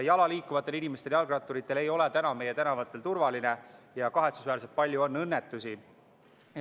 Jala liikuvatel inimestel ja jalgratturitel ei ole meie tänavatel turvaline ja kahetsusväärselt palju on õnnetusi.